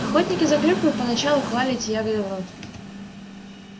охотники за клюквой поначалу клали эти ягоды в рот